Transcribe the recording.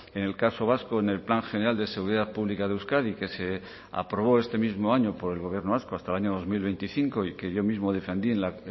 en el caso vasco en el plan general de seguridad pública de euskadi que se aprobó este mismo año por el gobierno vasco hasta el año dos mil veinticinco y que yo mismo defendí en la